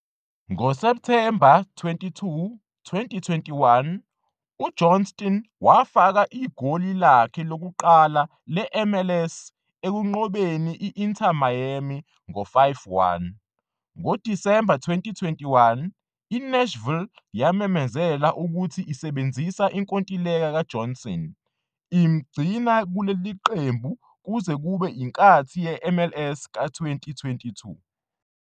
Ngo-September 22, 2021, uJohnston wafaka igoli lakhe lokuqala le-MLS ekunqobeni I-Inter Miami ngo-5-1. NgoDisemba 2021, i-Nashville yamemezela ukuthi isebenzisa inkontileka kaJohnston, imgcina kuleli qembu kuze kube inkathi ye-MLS ka-2022.